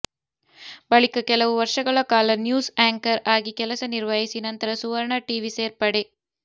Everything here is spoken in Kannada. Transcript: ಬಳಿಕ ಕೆಲವು ವರ್ಷಗಳ ಕಾಲ ನ್ಯೂಸ್ ಆ್ಯಂಕರ್ ಆಗಿ ಕೆಲಸ ನಿರ್ವಹಿಸಿ ನಂತರ ಸುವರ್ಣ ಟಿವಿ ಸೇರ್ಪಡೆ